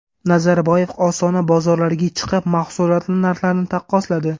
Nazarboyev Ostona bozorlariga chiqib, mahsulotlar narxlarini taqqosladi.